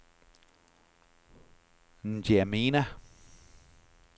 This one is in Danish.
Ndjamena